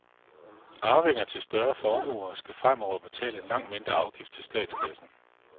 Arvinger til større formuer skal fremover betale en langt mindre afgift til statskassen.